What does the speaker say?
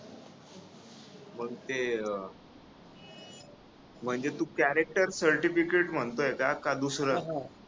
मंग ते अं म्हणजे तू character certificate म्हणतोय का? का दुसरं?